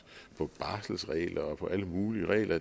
på barselsregler og på alle mulige regler